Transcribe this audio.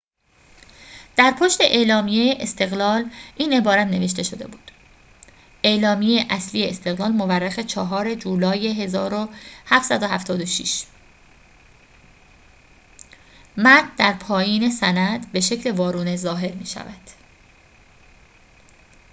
در پشت اعلامیه استقلال این عبارت نوشته شده بود اعلامیه اصلی استقلال مورخ ۴ جولای ۱۷۷۶ متن در پایین سند به شکل وارونه ظاهر می شود